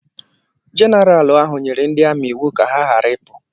Jeneral ahụ nyere ndị amị iwu ka ha ghara ịpụ.